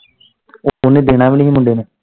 ਓਨੇ ਦੇਣਾ ਵੀ ਨਹੀਂ ਹੀ ਮੁੰਡੇ ਨੇ।